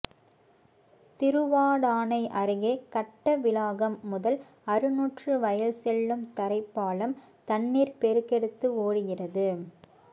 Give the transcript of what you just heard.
திருவாடானை அருகே கட்டவிளாகம் முதல் அறுநூற்றி வயல் செல்லும் தரைப்பாலம் தண்ணீா் பெருக்கெடுத்து ஓடுகிறது